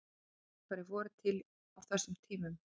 hvaða hljóðfæri voru til á þessum tíma